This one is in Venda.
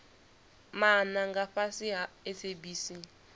maana nga fhasi ha sabc